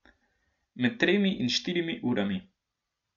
Med tremi in štirimi urami.